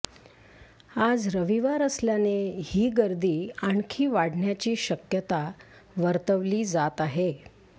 आज रविवार असल्याने ही गर्दी आणखी वाढण्याची शक्यता वर्तवली जात आहे